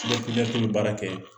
bɛ baara kɛ